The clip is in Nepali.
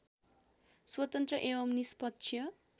स्वतन्त्र एवं निष्पक्ष